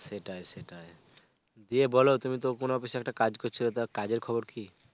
সেটাই সেটাই. দিয়ে বলো তুমি তো কোন অফিসে একটা কাজ করছিলা. তা কাজের খবর কী?